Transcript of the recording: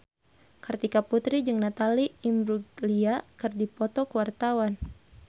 Kartika Putri jeung Natalie Imbruglia keur dipoto ku wartawan